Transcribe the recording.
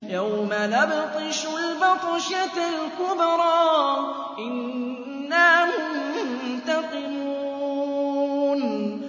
يَوْمَ نَبْطِشُ الْبَطْشَةَ الْكُبْرَىٰ إِنَّا مُنتَقِمُونَ